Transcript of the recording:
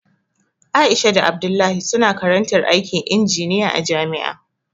Aisha da Abdullahi suna karantar aikin injiniya a jami'a